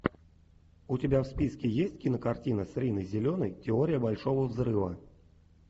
у тебя в списке есть кинокартина с риной зеленой теория большого взрыва